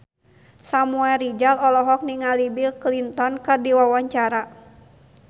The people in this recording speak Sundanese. Samuel Rizal olohok ningali Bill Clinton keur diwawancara